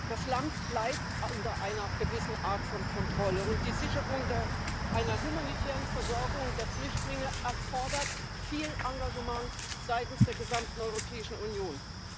Das Land bleibt unter einer gewissen Art von Kontrolle, und die Sicherung einer humanitären Versorgung der Flüchtlinge erfordert viel Engagement seitens der gesamten Europäischen Union.